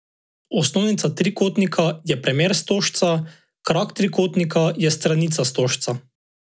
Osnovnica trikotnika je premer stožca, krak trikotnika je stranica stožca.